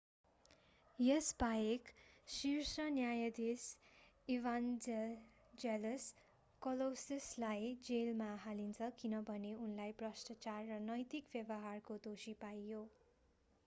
यसबाहेक शीर्ष न्यायाधीश ईभान्जेलस कलौसिसलाई जेलमा हालिन्छ किनभने उनलाई भ्रष्टाचार र नैतिक व्यवहारको दोषी पाइयो